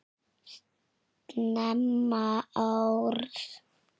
Snemma árs